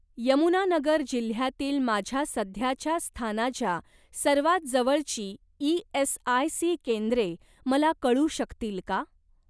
यमुनानगर जिल्ह्यातील माझ्या सध्याच्या स्थानाच्या सर्वात जवळची ई.एस.आय.सी केंद्रे मला कळू शकतील का?